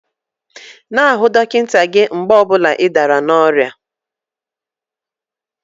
N'ahụ dọkịta gị mgbe ọ bụla ị dara n'oria5